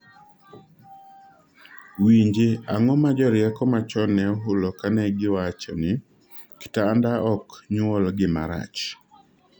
winji ,ang'o ma jorieko machon ne ohulo kane giwachoni "kitanda ok nyuol gima rach"